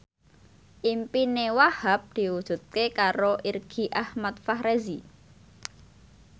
impine Wahhab diwujudke karo Irgi Ahmad Fahrezi